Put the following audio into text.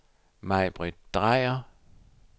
Maibritt Dreyer